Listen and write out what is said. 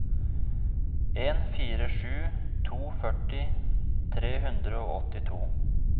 en fire sju to førti tre hundre og åttito